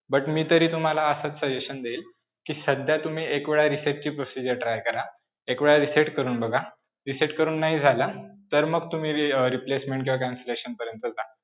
But मी तर तुम्हाला असंच suggestion देईन कि सध्या तुम्ही एक वेळ reset ची procedure try करा, एक वेळा reset करून बघा. reset करून नाही झालं तर मग तुम्ही अं replacement किंवा cancellation पर्यंत जा.